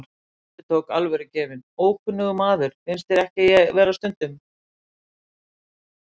Hann endurtók, alvörugefinn: Ókunnugur maður, finnst þér ekki ég vera stundum?